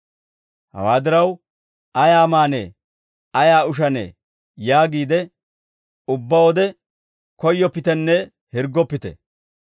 «Hawaa diraw, ‹Ayaa maanee? Ayaa ushanee?› yaagiide ubbaa wode koyyoppitenne hirggoppite.